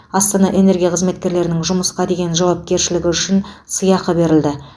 астана энергия қызметкерлерінің жұмысқа деген жауапкершілігі үшін сыйақы берілді